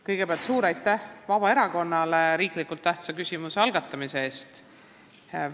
Kõigepealt suur aitäh Vabaerakonnale riiklikult tähtsa küsimuse algatamise eest!